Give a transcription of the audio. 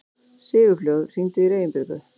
Sigurfljóð, hringdu í Reginbjörgu.